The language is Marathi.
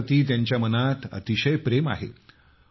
भारताप्रति त्यांच्या मनात अतिशय प्रेम आहे